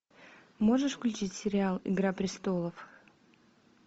можешь включить сериал игра престолов